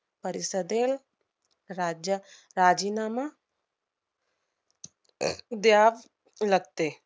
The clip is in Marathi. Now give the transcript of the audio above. परिषदेल~ राज्य~ राजीनामा द्याल लागते.